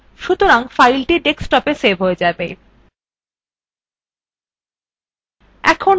সুতরাং file ডেস্কটপে save হয়ে যাবে